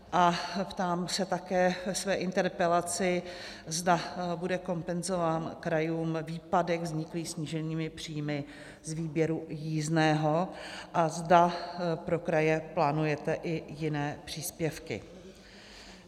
A ptám se také ve své interpelaci, zda bude kompenzován krajům výpadek vzniklý sníženými příjmy z výběru jízdného a zda pro kraje plánujete i jiné příspěvky.